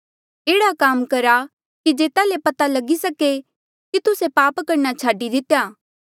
एह्ड़ा काम करा कि जेता ले पता लगी सके कि तुस्से पाप करणा छाडी दितेया